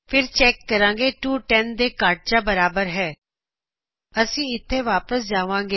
ਫਿਰ ਅਸੀ ਚੈੱਕ ਕਰਾਂਗੇ ਦੋ 10 ਦੇ ਘੱਟ ਜਾਂ ਬਰਾਬਰ ਹੈ ਅਸੀ ਇਥੋ ਵਾਪਸ ਜਾਵਾਂਗੇ